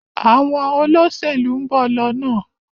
Àwọn Olóṣèlú nbọ lọnà.